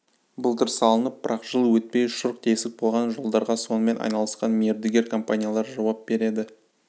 былтыр салынып бірақ жыл өтпей шұрқ тесік болған жолдарға сонымен айналысқан мердігер компаниялар жауап береді